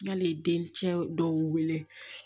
N'ale ye den cɛ dɔw wele